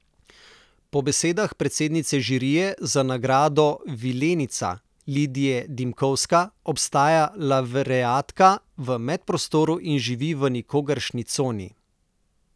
Po besedah predsednice žirije za nagrado vilenica Lidije Dimkovska obstaja lavreatka v medprostoru in živi v nikogaršnji coni.